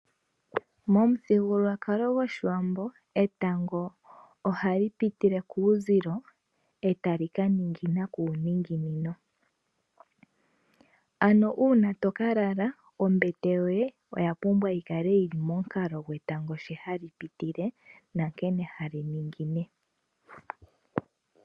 Momuthigululwakalo gOshiwambo etango ohali pitile kuuzilo eta li kaningina kuuninginino. Ano uuna toka lala ombete yoye oya pumbwa yi kale yili momukalo nkene etango shi hali pitile nankene hali ningine.